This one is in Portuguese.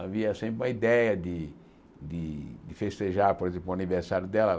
Havia sempre uma ideia de de festejar, por exemplo, o aniversário dela.